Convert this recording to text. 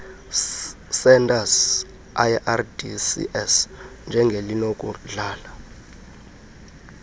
centres lrdcs njengelinokudlala